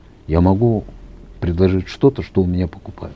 я могу предложить что то что у меня покупают